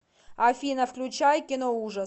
афина включай киноужас